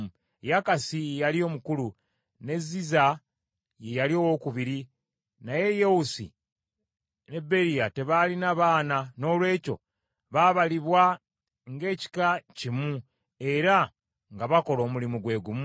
Yakasi ye yali omukulu, ne Ziza ye yali owookubiri, naye Yewusi be Beriya tebaalina baana noolwekyo baabalibwa ng’ekika kimu era nga bakola omulimu gwe gumu.